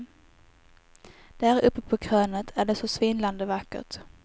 Där uppe på krönet är det så svindlande vackert.